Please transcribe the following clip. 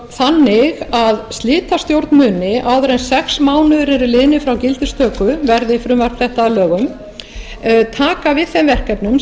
þannig að slitastjórn muni áður en sex mánuðir eru liðnir frá gildistöku verði frumvarp þetta að lögum taka við þeim verkefnum